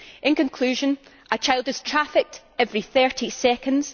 In conclusion, a child is trafficked every 30 seconds.